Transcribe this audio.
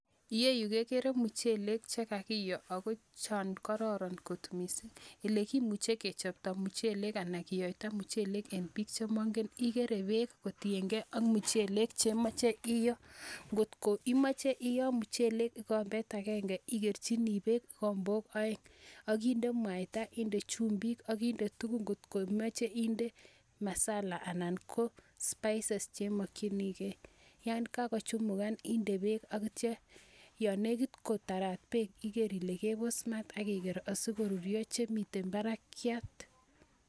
Iyeyu kegere muchelek che kakiyo ago chon kororon kot mising'. Ele kimuche kichopto muchelek anan kiyoita muchelek en biik che mongen, igere beek kotienge ak muchelek che imoche iyoo. Ngotko imoche iyoo muchelek kigombet agenge igerchini beek kigombok oeng ak inde mwaita, inde chumbik, inde tugun kotko imoche inde masala anan ko spices che imokinige yan kagochumukan inde beek ak kityo yon negit kotarat beek iger ile kebos maat ak igera asi ko ruryo chemiten barakiat.